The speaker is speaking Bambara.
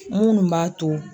Munnu b'a to